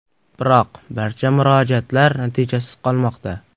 Biroq barcha murojaatlar natijasiz qolmoqda”.